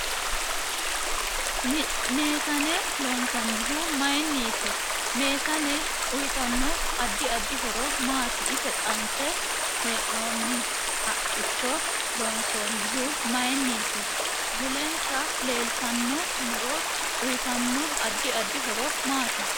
Miisane loonsanihu mayiiniti meesane uyiitanno addi addi horo maati ise qanse heenooni haqicho loonsoonihu mayiiniti mulensa leeltanno muro uyiitanno addi addi horo maati